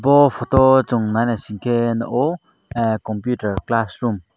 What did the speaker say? o photo o song nai naisingke nogo computer class room .